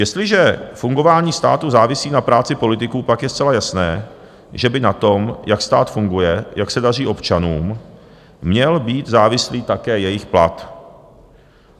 Jestliže fungování státu závisí na práci politiků, pak je zcela jasné, že by na tom, jak stát funguje, jak se daří občanům, měl být závislý také jejich plat.